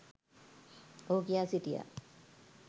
ඔහු කියා සිටියා.